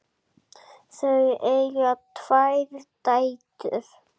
Þau eiga tvær dætur.